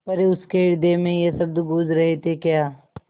पर उसके हृदय में ये शब्द गूँज रहे थेक्या